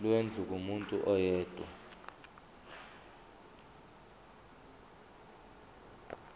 lwendlu kumuntu oyedwa